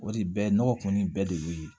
O de bɛ nɔgɔ kɔni bɛɛ de ye